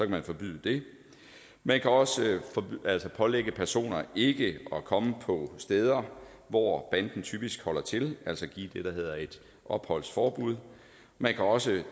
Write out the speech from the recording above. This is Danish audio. man forbyde det man kan også pålægge personer ikke at komme på steder hvor banden typisk holder til altså give det der hedder et opholdsforbud man kan også